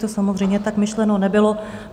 To samozřejmě tak myšleno nebylo.